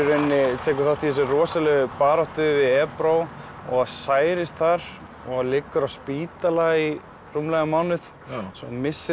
tekur þátt í þessari rosalegu baráttu við Ebro og særist þar og liggur á spítala í rúmlega mánuð svo hann missir af